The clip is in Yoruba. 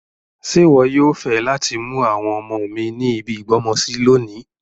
Ṣe wọ yoo fẹ lati mu àwọn ọmọ mi ni ibi ìgbọ́mọsi lonìí